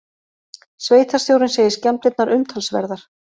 Sveitarstjórinn segir skemmdirnar umtalsverðar